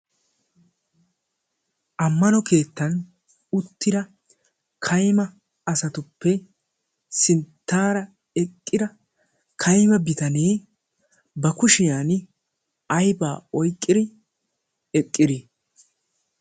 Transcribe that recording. ammano keettan uttira kayma asatuppe sinttaara eqqira ka'ma bitanee ba kushiyan aibaa oyqqiri eqqidii?